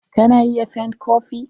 Ka na iya fent kopi.